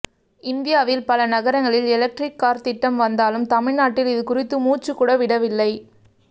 இந்தியாவில் பல நகரங்களில் எலெக்ட்ரிக் கார் திட்டம் வந்தாலும் தமிழ்நாட்டில் இது குறித்து முச்சு கூட விடவில்லை